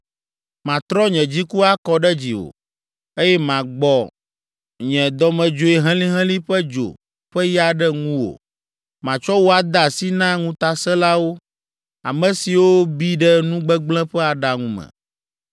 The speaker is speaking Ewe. Matrɔ nye dziku akɔ ɖe dziwò, eye magbɔ nye dɔmedzoe helĩhelĩ ƒe dzo ƒe ya ɖe ŋuwò. Matsɔ wò ade asi na ŋutasẽlawo, ame siwo bi ɖe nu gbegblẽ ƒe aɖaŋu me.